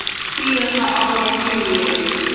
Síðasta ár var mjög lélegt.